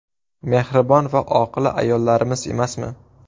Mehribon va oqila ayollarimiz emasmi?